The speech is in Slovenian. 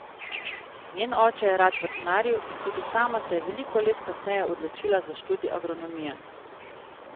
Njen oče je rad vrtnaril in tudi sama se je veliko let kasneje odločila za študij agronomije.